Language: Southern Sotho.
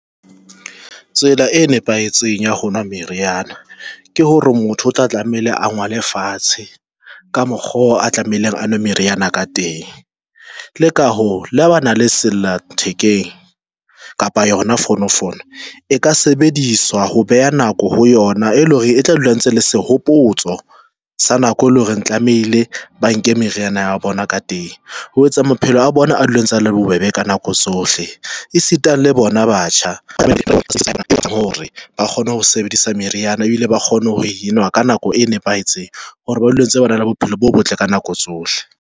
Tsela e nepahetseng ya ho nwa meriana ke hore motho o tla tlameile a ngole fatshe ka mokgo a tlamehileng a nwe meriana ka teng. Le ka ho le bana le sella thekeng kapa yona fono fono e ka sebediswa ho beha nako ho yona, e leng hore e tla dula ntse le sehopotso sa nako e leng hore tlamehile ba nke meriana ya bona ka teng ho etsa maphelo a bona. A dula e ntse a le bobebe ka nako tsohle, e sita le bona batjha hore ba kgone ho sebedisa meriana ebile ba kgone ho enwa ka nako e nepahetseng hore ba dule ba ntse ba na le bophelo bo botle ka nako tsohle.